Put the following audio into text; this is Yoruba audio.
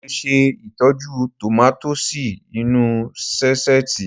Mo lè ṣe ìtọ́jú tòmátósì inú ú sáṣẹ́ẹ̀tì